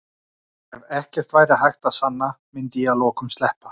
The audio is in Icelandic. Ef ekkert væri hægt að sanna myndi ég að lokum sleppa.